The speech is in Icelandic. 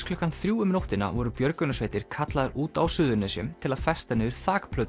klukkan þrjú í nótt voru björgunarsveitir kallaðar út á Suðurnesjum til að festa niður